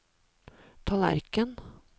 tallerken